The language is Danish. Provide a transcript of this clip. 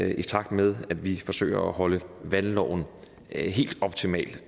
i takt med at vi forsøger at holde valgloven helt optimal